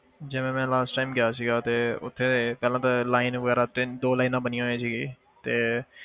ਜਿਵੇਂ ਮੈਂ last time ਗਿਆ ਸੀਗਾ ਤੇ ਉੱਥੇ ਪਹਿਲਾਂ ਤਾਂ line ਵਗ਼ੈਰਾ ਤਿੰਨ ਦੋ lines ਬਣੀਆਂ ਹੋਈਆਂ ਸੀ ਤੇ